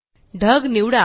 ढग निवडा